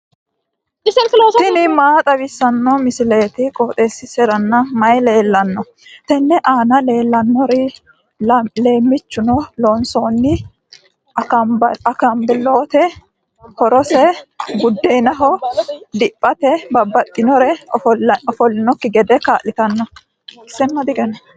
tini maa xawissanno misileeti? qooxeessisera may leellanno? tenne aana leellannori leemmichunni loonsoonni akambaalooti horose buddeenaho diphate babbaxxinori ofollannokki gede kaa'litanno.